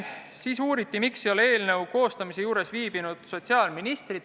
Siis uuriti, miks ei ole eelnõu koostamise juures viibinud sotsiaalminister.